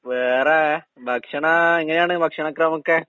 വേറെ ഭക്ഷണ എങ്ങനെയാണ് ഭക്ഷണ ക്രമോക്കെ?